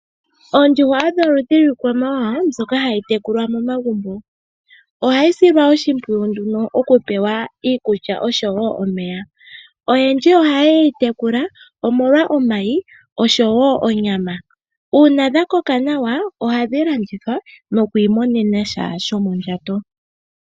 Oondjuhwa odho oludhi lwiikwamawawa mbyoka hai tekulwa momagumbo. Ohayi silwa oshimpiyu nduno oku pewa iikulya oshowo omeya. Oyendji ohaya yeyi tekula omolwa omayi oshowo onyama. Uuna dha koka nawa ohadhi landithwa nokwii monena sha shomo ndjato.